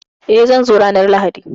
Eh, zan zo ranar Lahadi